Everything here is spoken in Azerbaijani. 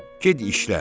Get işlə.